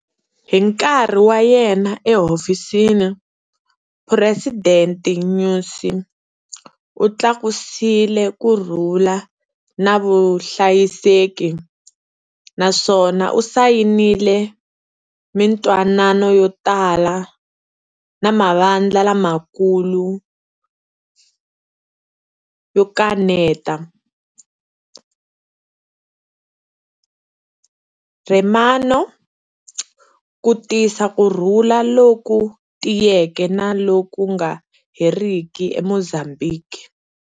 Hi nkarhi wa yena ehofisini, President Nyusi u tlakusile kurhula na vuhlayiseki, naswona u sayinile mintwanano yo tala na mavandla lamakulu yo kaneta, RENAMO, ku tisa kurhula loku tiyeke na loku nga heriki eMozambhiki.